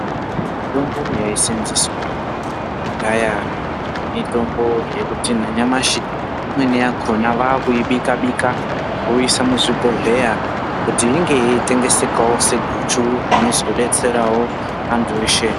Mitombo yaiseenzeswa kudhaya mitombo yemuti nenyamashi imweni yakona vakuibika-bika voiisa muzvibhodhleya kuti inge yeitengesekawo seguchu rinozodetserawo antu eshe.